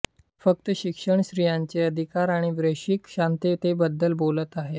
मी फक्त शिक्षण स्त्रियांचे अधिकार आणि वैश्विक शांततेबद्धल बोलत आहे